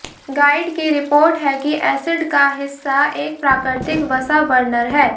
guide की report है कि एसिड का हिस्सा एक प्राकृतिक वसा बर्नर है